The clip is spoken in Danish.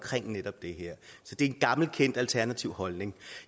netop det her så det er en gammelkendt alternativ holdning